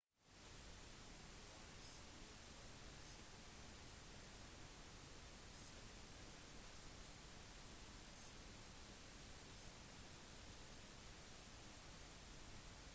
hvis du har en stor minibuss suv sedan eller stasjonsvogn med seter som kan legges ned er det mulig med bilcamping